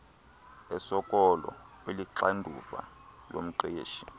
esoloko iluxanduva lomqeshi